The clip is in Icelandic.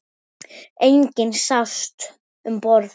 Enginn sást um borð.